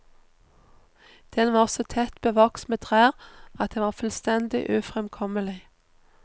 Den var så tett bevokst med trær at det var fullstendig ufremkommelig.